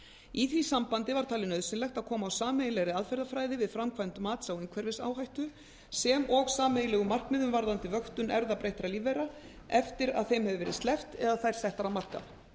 í því sambandi var talið nauðsynlegt að koma á sameiginlegri aðferðafræði við framkvæmd mats á umhverfisáhættu sem og sameiginlegum markmiðum varðandi vöktun erfðabreyttra lífvera eftir að þeim hefur verið sleppt eða þær settar á markað